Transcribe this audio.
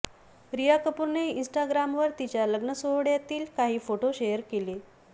रिया कपूरने इन्स्टाग्रामवर तिच्या लग्न सोहळ्यातील काही फोटो शेअर केले